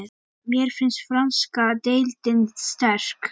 Mér finnst franska deildin sterk.